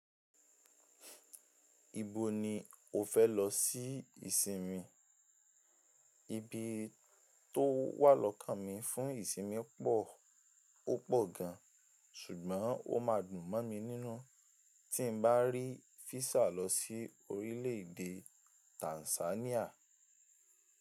Ibo ni o fẹ́ lọ sí ìsinmi? Ibi tó wà lọ́kànmi fún ìsinmi pọ̀, ó pọ̀ gan, ṣùgbọ́n ó ma dùn mọ́ mi nínú tí n bá rí físà lọ sí orílẹ̀èdè Tanzania.